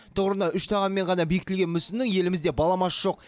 тұғырына үш тағанмен ғана бекітілген мүсіннің елімізде баламасы жоқ